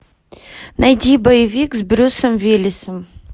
найди боевик с брюсом уиллисом